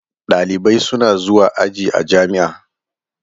Ɗalibai suna zuwa aji a jami'a.